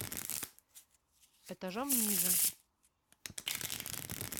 этажом ниже